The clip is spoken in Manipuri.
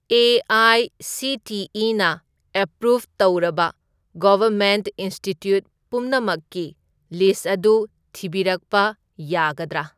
ꯑꯦ.ꯑꯥꯏ.ꯁꯤ.ꯇꯤ.ꯏ.ꯅ ꯑꯦꯄ꯭ꯔꯨꯞ ꯇꯧꯔꯕ ꯒꯚꯔꯃꯦꯟꯠ ꯏꯟꯁꯇꯤꯇ꯭ꯌꯨꯠ ꯄꯨꯝꯅꯃꯛꯀꯤ ꯂꯤꯁ꯭ꯠ ꯑꯗꯨ ꯊꯤꯕꯤꯔꯛꯄ ꯌꯥꯒꯗ꯭ꯔꯥ?